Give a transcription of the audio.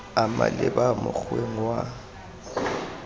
a maleba mo mokgweng wa